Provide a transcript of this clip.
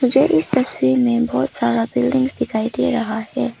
मुझे इस तस्वीर में बहोत सारा बिल्डिंग दिखाई दे रहा है।